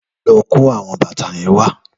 Lò kó áwòn bàtá yèn wà